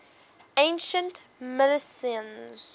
ancient milesians